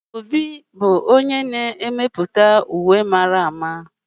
Obi, onye na-emepụta ejiji, ga-eme uwe mara mma